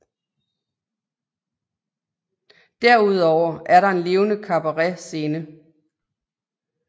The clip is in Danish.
Derudover er der en levende kabaretscene